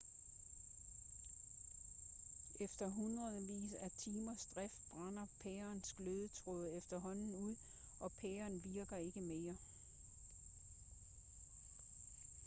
efter hundredvis af timers drift brænder pærens glødetråd efterhånden ud og pæren virker ikke mere